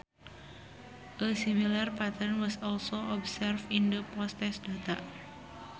A similar pattern was also observed in the posttest data